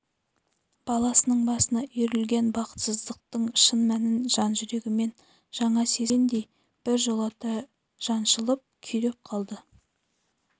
баласының басына үйірілген бақытсыздықтың шын мәнін жан-жүрегімен жаңа сезінгендей біржолата жаншылып күйреп қалды